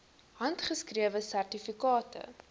handgeskrewe sertifikate